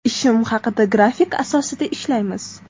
Ishim haqida Grafik asosida ishlaymiz.